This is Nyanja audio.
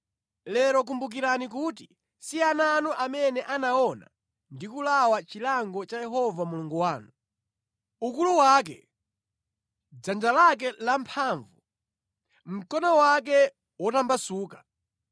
Lero kumbukirani kuti si ana anu amene anaona ndi kulawa chilango cha Yehova Mulungu wanu: ukulu wake, dzanja lake lamphamvu, mkono wake wotambasuka;